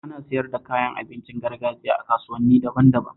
Ana siyar da kayan abincin gargajiya a kasuwanni daban-daban